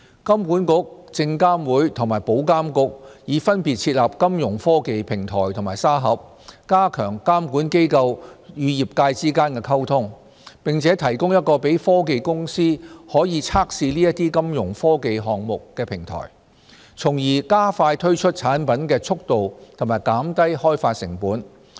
金管局、證券及期貨事務監察委員會和保險業監管局已分別設立金融科技平台和沙盒，加強監管機構與業界之間的溝通，並提供一個讓科技公司可以測試這些金融科技項目的平台，從而加快推出產品的速度及減低開發成本。